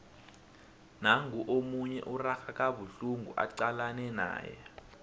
nangu omunye urarha kabuhlungu acalane naye